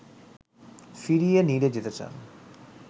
ফিরিয়ে নিরে যেতে চান